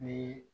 Ni